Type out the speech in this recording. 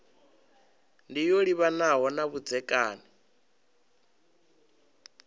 ndi yo livhanaho na vhudzekani